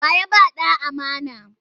Wa ya ba ta ɗa amana?